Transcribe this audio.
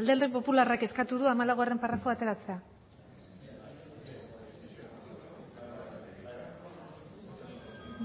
alderdi popularrak eskatu du hamalaugarrena paragrafoa ateratzea